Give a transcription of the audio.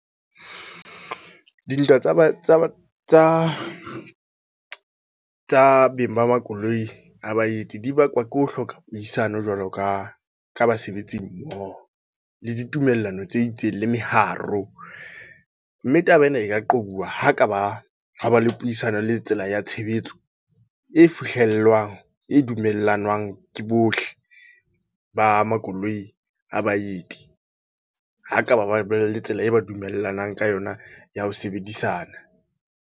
Dintwa tsa ba tsa beng ba makoloi ha baeti. Dibakwa ke ho hloka puisano jwalo ka, ka basebetsi mmoho. Le ditumellano tse itseng, le meharo. Mme taba ena e ka qobuwa ho ka ba, ha ba le puisano le tsela ya tshebetso. E fihlellwang, e dumellanang ke bohle ba makoloi a baeti. Ha ba ka ba ba le tsela eo ba dumellaneng ka yona ya ho sebedisana.